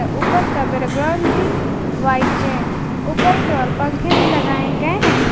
ऊपर का बैकग्राउंड भी व्हाइट है ऊपर की ओर पंखे भी लगाए गए हैं।